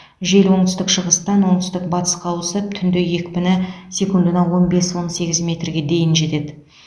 жел оңтүстік шығыстан оңтүстік батысқа ауысып түнде екпіні секундына он бес он сегіз метрге жетеді